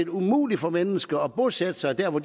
umuligt for mennesker at bosætte sig der hvor